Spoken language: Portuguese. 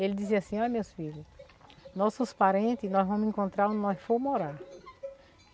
Ele dizia assim, ó meus filhos, nossos parente nós vamos encontrar onde nós for morar.